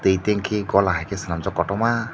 tui tengkhi gola hai ke cholamjak kotorma.